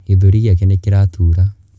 Gĩthũri gĩake nĩ kĩratura.